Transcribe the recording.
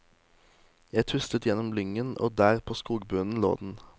Jeg tuslet gjennom lyngen, og der på skogbunnen lå den.